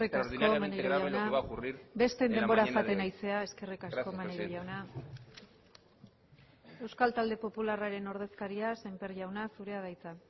extraordinariamente grave lo que va a ocurrir en la mañana de hoy eskerrik asko maneiro jauna besteen denbora jaten ari zara eskerrik asko maneiro jauna gracias presidenta euskal talde popularraren ordezkaria sémper jauna zurea da hitza